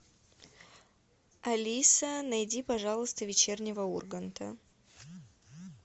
алиса найди пожалуйста вечернего урганта